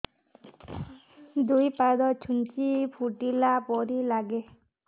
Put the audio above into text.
ଦୁଇ ପାଦ ଛୁଞ୍ଚି ଫୁଡିଲା ପରି ଲାଗେ